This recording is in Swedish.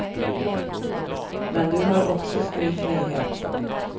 Men du har också stor frihet.